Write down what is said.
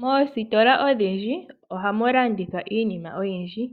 Moosiitola odhindji ohamu landithwa iinima oyindji .